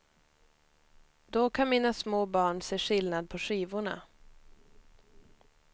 Då kan mina små barn se skillnad på skivorna.